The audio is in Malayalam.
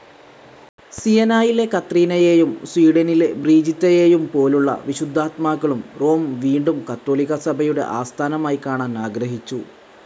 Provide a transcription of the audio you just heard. സിയെനായിലെ കത്രീനയേയും സ്വീഡനിലെ ബ്രിജീത്തയേയും പോലുള്ള വിശുദ്ധാത്മാക്കളും റോം വീണ്ടും കത്തോലിക്കാ സഭയുടെ ആസ്ഥാനമായിക്കാണാൻ ആഗ്രഹിച്ചു.